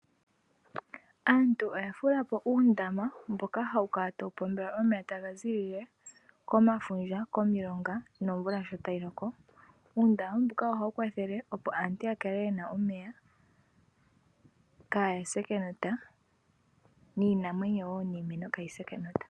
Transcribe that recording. Aantu oya fula po uundama mboka hawu kala tawu pombelwa omeya taga zilile mefundja nokomilonga. Omvula sho tayi loko, uundama mboka ohawu kwathele opo aantu ya kale yena omeya opo aantu kaya se kenota oshowo iinamwenyo niimeno.